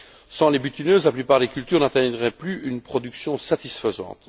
Sans les butineuses, la plupart des cultures n'atteindraient plus une production satisfaisante.